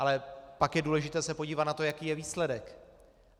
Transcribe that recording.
Ale pak je důležité se podívat na to, jaký je výsledek.